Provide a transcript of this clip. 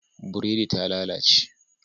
Buredi ta lalace